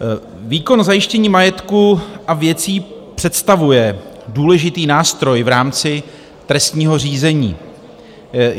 Výkon zajištění majetku a věcí představuje důležitý nástroj v rámci trestního řízení.